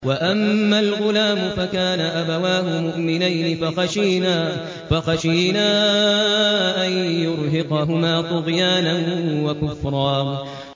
وَأَمَّا الْغُلَامُ فَكَانَ أَبَوَاهُ مُؤْمِنَيْنِ فَخَشِينَا أَن يُرْهِقَهُمَا طُغْيَانًا وَكُفْرًا